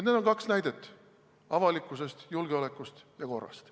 Need on kaks näidet avalikkuse, julgeoleku ja korra kohta.